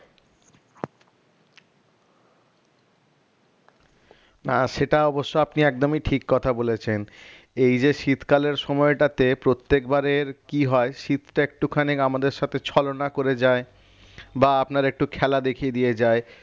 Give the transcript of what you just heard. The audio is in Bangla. না সেটা অবশ্য আপনি একদমই ঠিক কথা বলেছেন এইযে শীতকালের সময়টাতে প্রত্যেকবারে কি হয় শীতটা একটুখানি আমাদের সাথে ছলনা করে যায় বা আপনার একটু খেলা দেখিয়ে দিয়ে যায়